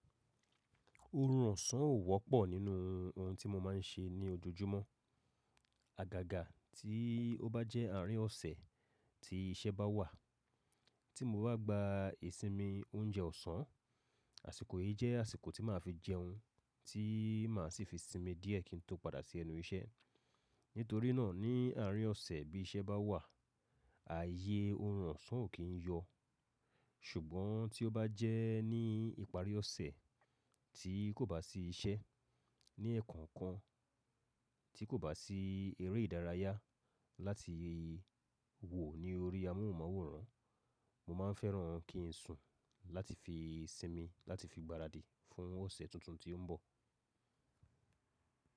Oorun osán ò wọ́pọ̀ nínú ohun tí mo máa ń ṣe ní ojojúmọ́. Àgàgà tí ó bá jẹ́ àárín ọ̀sẹ̀ tí iṣẹ́ bá wà, tí mo bá gba ìsinmi oúnjẹ ọ̀sán, àsìkò yìí jẹ́ àsìkò tí màá fi jẹun tí màá sì fi sinmi díẹ̀ kí n tó padà sí ẹnu iṣẹ́. Nítorí náà ní àárín ọ̀sẹ̀ bí iṣẹ́ bá wà, ààyè orun ànsán ò kí ń yọ. Ṣùgbọ́n tí ó bá jẹ́ ní ìparí ọ̀sẹ̀ tí kò bá sí iṣẹ́, ní ẹ̀ẹ̀kan kan tí kò bá sí eré ìdárayá láti wò ní orí amóhùnmáwòrán, mo máa fẹ́ràn kí n sùn láti fi sinmi láti fi gbaradì fún ọ̀sẹ̀ tuntun tí ó ń bọ̀.